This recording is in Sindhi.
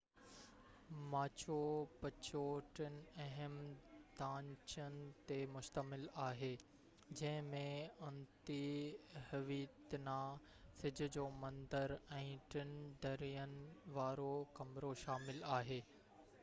ماچو پچو ٽن اهم ڍانچن تي مشتمل آهي جنهن ۾ انتي هويتنا سج جو مندر ۽ ٽن درين وارو ڪمرو شامل آهي